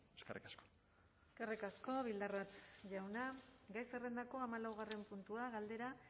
eskerrik asko eskerrik asko bildarratz jauna gai zerrendako hamalaugarren puntua galdera